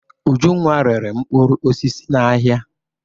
Ujunwa rere mkpụrụ osisi n'ahịa.